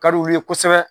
Ka d'u ye kosɛbɛ